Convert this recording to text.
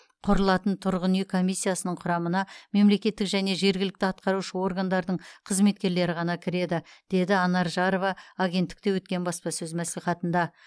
құрылатын тұрғын үй комиссиясының құрамына мемлекеттік және жергілікті атқарушы органдардың қызметкерлері ғана кіреді деді анар жарова агенттікте өткен баспасөз мәслихатында